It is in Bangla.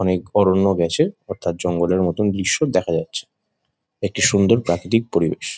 অনেক অরণ্য গেছে অথার্ৎ জঙ্গলের মতো দৃশ্য দেখা যাচ্ছে একটি সুন্দর প্রাকৃতিক পরিবেশ।